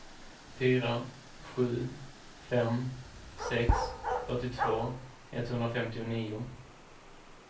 fyra sju fem sex fyrtiotvå etthundrafemtionio